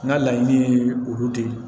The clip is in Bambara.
N ka laɲini ye olu de ye